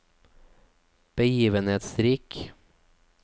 begivenhetsrik